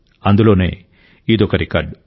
అందులోనే ఇదొక రికార్డు